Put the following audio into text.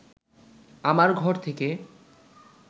আমার ঘর থেকে